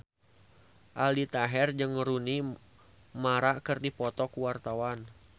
Aldi Taher jeung Rooney Mara keur dipoto ku wartawan